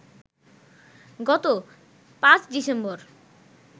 গত ৫ ডিসেম্বর